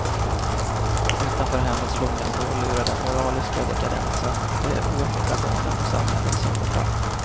Utanför hemmets lugna vrå lurar den moraliska dekadansen, de oäkta barnen och samhällets sönderfall.